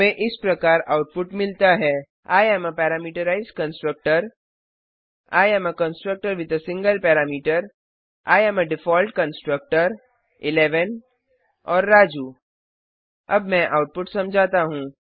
हमें इस प्रकार आउटपुट मिलता है I am a parameterised constructor I am a constructor with a single parameter I am default constructor 11 और राजू अब मैं आउटपुट समझाता हूँ